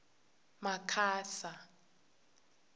makhasa